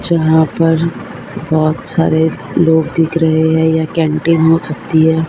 जहां पर बोहोत सारे लोग दिख रहे हैं यह कैंटीन हो सकती है।